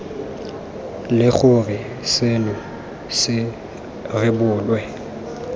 le gore seno se rebolwe